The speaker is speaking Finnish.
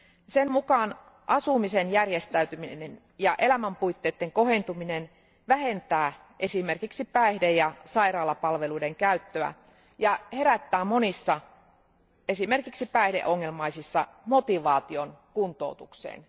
Sen mukaan asumisen järjestäminen ja elämänpuitteiden kohentuminen vähentää esimerkiksi päihde ja sairaalapalveluiden käyttöä ja herättää monissa, esimerkiksi päihdeongelmaisissa, motivaation kuntoutukseen.